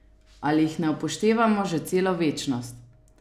Ali jih ne upoštevamo že celo večnost?